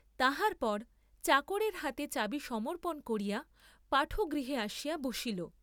তাহার পর চাকরের হাতে চাবি সমর্পণ করিয়া পাঠগৃহে আসিয়া বসিল।